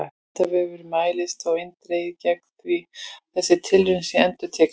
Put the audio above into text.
Vísindavefurinn mælir þó eindregið gegn því að þessi tilraun sé endurtekin!